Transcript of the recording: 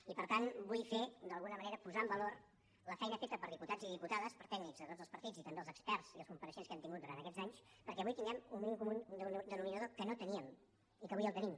i per tant vull d’alguna manera posar en valor la feina feta per diputats i diputades per tècnics de tots els partits i també pels experts i els compareixents que hem tingut durant aquests anys perquè avui tinguem un mínim comú denominador que no teníem i que avui tenim